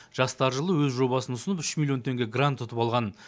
жастар жылы өз жобасын ұсынып үш миллион теңге грант ұтып алған